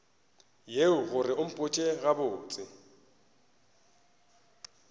yeo gore o mpotše gabotse